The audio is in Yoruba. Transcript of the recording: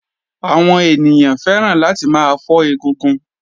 Àwọn ènìyàn fẹ́ràn láti máa fọ́ egungun.